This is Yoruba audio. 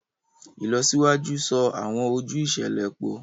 Ìlọsíwájú so awọn ojú iṣẹlẹ pọ